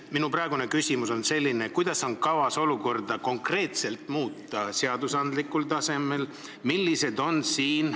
Minu küsimus on selline: kuidas konkreetselt on kavas olukord seadusandlikul tasemel lahendada?